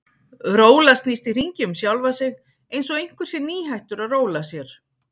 Róla snýst í hringi um sjálfa sig einsog einhver sé nýhættur að róla sér.